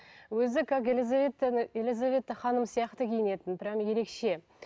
өзі как елизаветта ханым сияқты киінетін прямо ерекше